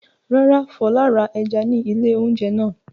Rárá, Fọlá ra ẹja ní ilé-oúnjẹ náà.